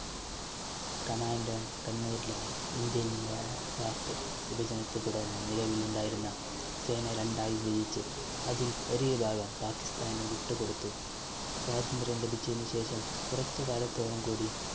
commandant കണ്ണൂരിലാണ്. indian pak വിഭജനത്തെ തുടർന്ന് നിലവിലുണ്ടായിരുന്ന സേന രണ്ടായി വിഭജിച്ച് അതിൽ ഒരു വിഭാഗം പാക്കിസ്ഥാന് വിട്ടുകൊടുത്തു. സ്വാതന്ത്ര്യം ലഭിച്ചതിനുശേഷം കുറച്ചുകാലത്തോളം കൂടി